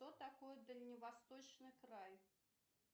что такое дальневосточный край